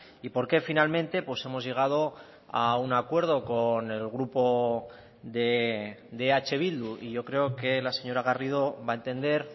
y porqué finalmente hemos llegado a un acuerdo con el grupo de eh bildu y yo creo que la señora garrido va a entender